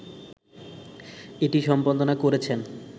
এটি সম্পাদনা করেছেন